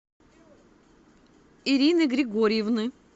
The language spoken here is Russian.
ирины григорьевны